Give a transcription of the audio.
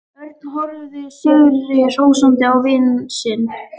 Örn horfði sigri hrósandi á vin sinn.